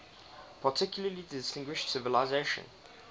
particularly distinguished civilization